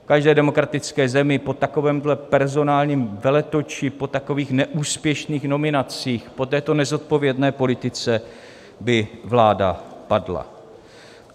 V každé demokratické zemi po takovémhle personálním veletoči, po takových neúspěšných nominacích, po této nezodpovědné politice by vláda padla.